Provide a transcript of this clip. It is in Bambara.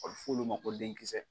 ɔ f'olu ma ko den kisɛ